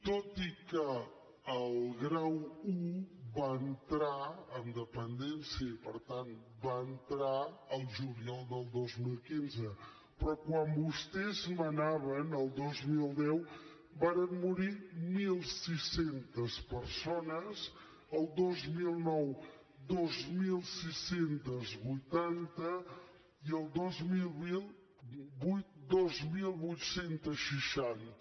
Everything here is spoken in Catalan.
tot i que el grau i va entrar en dependència i per tant va entrar el juliol del dos mil quinze però quan vostès manaven el dos mil deu varen morir mil sis cents persones el dos mil nou dos mil sis cents i vuitanta i el dos mil vuit dos mil vuit cents i seixanta